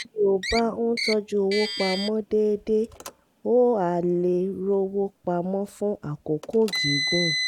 bí o bá ń tọ́jú owó pa mọ́ déédéé o á lè rówó pa mọ́ fún àkókò gígùn